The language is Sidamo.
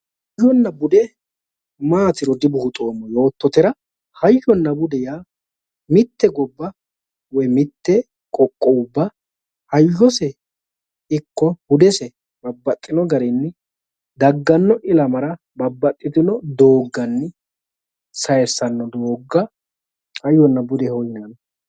Hayyonna bude maatiro dibuuxoommo yoottotera, hayyonna bude yaa mitte gobba woy mitte qoqqowubba hayyose ikko budese babbaxxino garinni dagganno ilamara babbaxxitino doogganni sayiissanno doogga hayyonna budeho yinanni